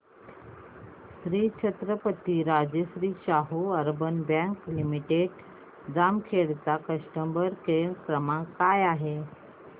Shri Chhatrapati Rajarshi Shahu urban bank limited Jamkhed चा customer care क्रमांक काय आहे